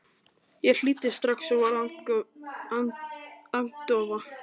Ég hlýddi strax og varð agndofa.